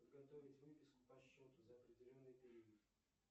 подготовить выписку по счету за определенный период